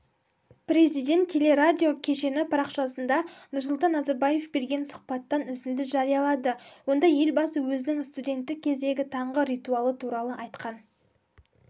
президент телерадио кешені парақшасында нұрсұлтан назарбаев берген сұхбаттан үзінді жариялады онда елбасы өзінің студенттік кездегі таңғы ритуалы туралы айтқан